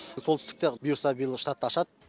солтүстікте бұйырса биыл штатты ашады